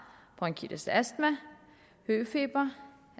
bronkitis astma høfeber